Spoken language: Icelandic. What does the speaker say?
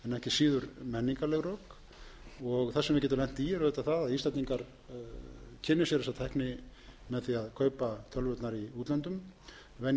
síður menningarleg rök það sem við getum auðvitað lent í er það að íslendingar kynni sér þessa tækni með því að kaupa tölvurnar í útlöndum venji sig á að lesa